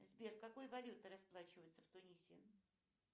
сбер какой валютой расплачиваются в тунисе